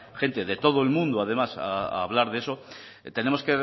gente de todo el mundo además a hablar de eso tenemos